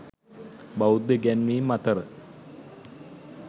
බෞද්ධ ඉගැන්වීම් අතර